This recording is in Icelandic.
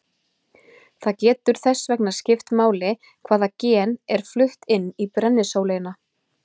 Það getur þess vegna skipt máli hvaða gen er flutt inn í brennisóleyna.